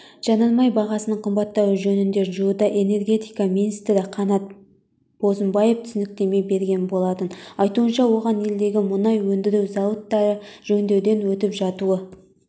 жанармай бағасының қымбаттауы жөнінде жуырда энергетика министрі қанат бозымбаев түсініктеме берген болатын айтуынша оған елдегі мұнай өндіру зауыттары жөндеуден өтіп жатуы